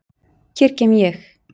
Hér kem ég!